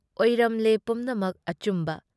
ꯑꯣꯏꯔꯝꯂꯦ ꯄꯨꯝꯅꯃꯛ ꯑꯆꯨꯝꯕ꯫